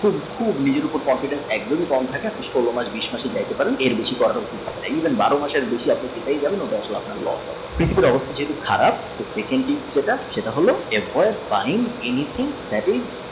খুব নিজের উপর confidence একদমী কম থাকে সোল মাস বিশ মাসের রেখে যান এর বেশি even বারো মাসের বেশি আপনি পেতে রাখলে আপনার loss